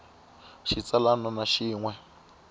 xa xitsalwana na xin we